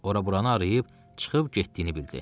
Ora-buranı arayıb çıxıb getdiyini bildi.